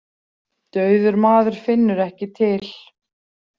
Dauður maður finnur ekki til.